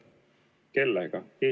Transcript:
Kelle vastu?